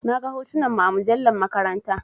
Na gan hotunan mu a mujallar maƙaranta.